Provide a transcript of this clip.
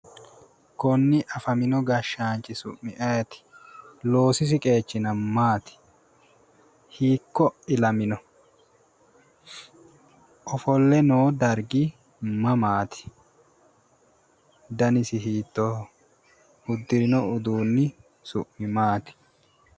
Konni afamino gashshaanchi su'mi ayeeti? loosisi qeechino maati? hiikko ilamino? ofolle no dsrgi mamaati? danisi hiittoho? uddirino uddunni su'mi maati?